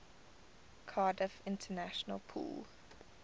cardiff international pool